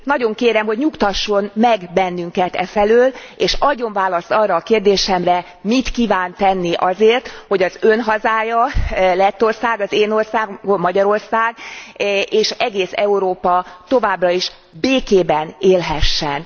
Nagyon kérem, hogy nyugtasson meg bennünket e felől, és adjon választ arra a kérdésemre, mit kíván tenni azért, hogy az Ön hazája, Lettország, az én országom, Magyarország és egész Európa továbbra is békében élhessen.